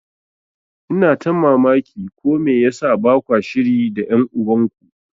Ina ta mamaki ko me yasa bakwa shiri da ƴan uban ku.